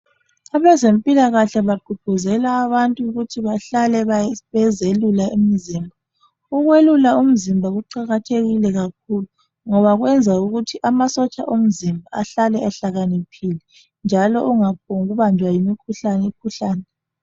Abezempilakahle bagqugquzela abantu ukuthi bahlale bezelula imizimba. Ukwelula umzimba kuqakathekile kakhulu ngoba kwenza ukuthi amasotsha omzimba ahlale ehlakaniphile njalo ungaphombubanjwa yimikhuhlane khuhlane.